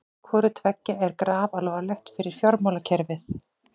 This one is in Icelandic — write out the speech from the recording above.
Hvorutveggja er grafalvarlegt fyrir fjármálakerfið